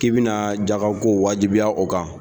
K'i bɛna jagako wajibiya o kan